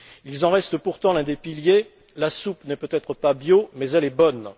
Ils en restent pourtant l'un des piliers la soupe n'est peut être pas bio, mais elle est bonne.